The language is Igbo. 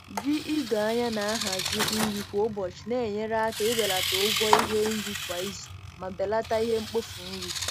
Ji ido anya na-ahazi nri kwa ụbọchị na-enyere aka ibelata ụgwọ ihe nri kwa izu ma belata ihe mkpofu nri.